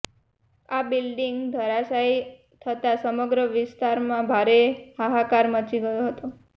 આ બિલ્ડીંગ ધરાશયી થતા સમગ્ર વિસ્તારમાં ભારે હાહાકાર મચી ગયો હતો